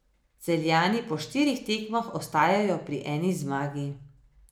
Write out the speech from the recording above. Celjani po štirih tekmah ostajajo pri eni zmagi.